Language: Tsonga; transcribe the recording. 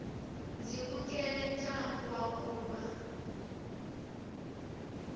ndzi vukele ntlangu wa kulwa